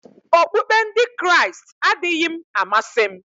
Okpukpe Ndị Kraịst adịghị m amasị m